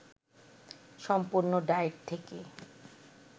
সম্পূর্ণ ডায়েট থেকে